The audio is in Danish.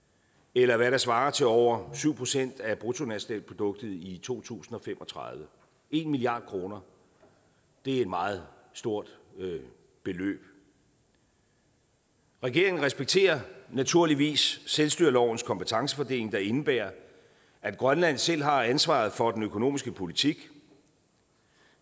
eller hvad der svarer til over syv procent af bruttonationalproduktet i to tusind og fem og tredive en milliard kroner er et meget stort beløb regeringen respekterer naturligvis selvstyrelovens kompetencefordeling der indebærer at grønland selv har ansvaret for den økonomiske politik